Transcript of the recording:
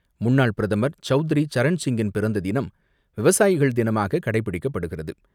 முன்னாள் பிரதமர் சவுத்ரி சரண்சிங்கின் பிறந்த தினம், விவசாயிகள் தினமாக கடைபிடிக்கப்படுகிறது.